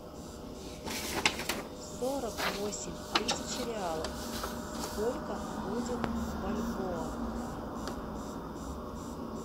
сорок восемь тысяч реалов сколько будет в бальбоа